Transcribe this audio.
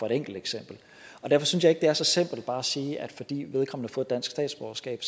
et enkelt eksempel derfor synes jeg er så simpelt bare at sige at fordi vedkommende har fået dansk statsborgerskab